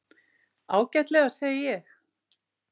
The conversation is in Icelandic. Ágætlega, segi ég.